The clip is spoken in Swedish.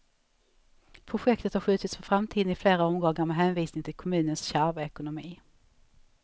Projektet har skjutits på framtiden i flera omgångar, med hänvisning till kommunens kärva ekonomi.